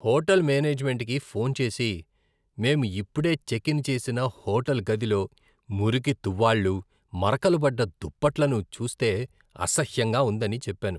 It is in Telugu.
హోటల్ మేనేజ్మెంట్కి ఫోన్ చేసి, మేము ఇప్పుడే చెక్ ఇన్ చేసిన హోటల్ గదిలో మురికి తువ్వాళ్లు, మరకలు పడ్డ దుప్పట్లను చూస్తే అసహ్యంగా ఉందని చెప్పాను.